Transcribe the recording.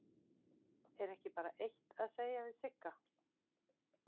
Er ekki bara eitt að segja við Sigga?